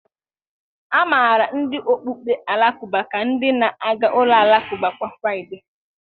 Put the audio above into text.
A maara ndị okpukpe Alakụba ka ndị na-aga ụlọ alakụba kwa Fraịde.